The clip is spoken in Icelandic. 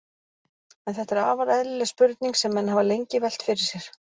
En þetta er afar eðlileg spurning sem menn hafa lengi velt fyrir sér.